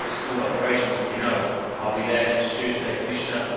It is a very small operation, as we know. I will be there next Tuesday, Commissioner.